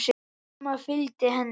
Amma fylgdi henni.